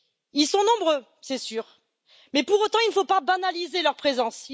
Ils sont nombreux, c'est sûr, mais pour autant, il ne faut pas banaliser leur présence.